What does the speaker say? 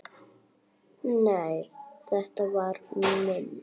Nei, þetta var minn